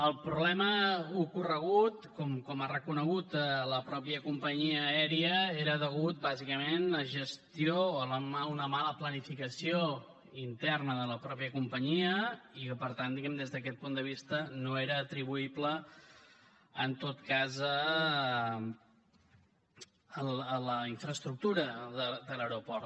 el problema ocorregut com ha reconegut la mateixa companyia aèria era a causa bàsicament de la gestió d’una mala planificació interna de la mateixa companyia i per tant diguem ne des d’aquest punt de vista no era atribuïble en cap cas a la infraestructura de l’aeroport